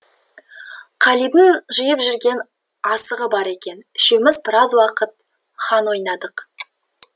қалидың жиып жүрген асығы бар екен үшеуіміз біраз уақыт хан ойнадық